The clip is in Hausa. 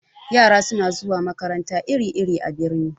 Yara suna zuwa makarantu iri-iri a birni.